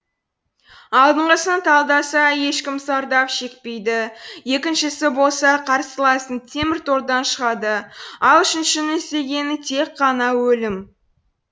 алдынғысын талдаса ешкім зардап шекпейді екіншісі болса қарсыласың теміртордан шығады ал үшіншінің іздегені тек қана өлім